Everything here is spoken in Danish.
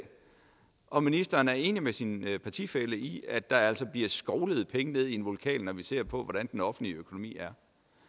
om ministeren er enig med sin partifælle i at der altså bliver skovlet penge ned i en vulkan når vi ser på hvordan den offentlige økonomi er